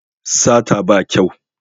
Sata ba kyau